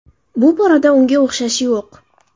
Bu borada unga o‘xshashi yo‘q.